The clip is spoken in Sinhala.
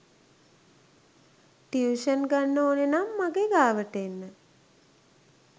ටියුෂන් ගන්න ඕනෙනං මගේ ගාවට එන්න.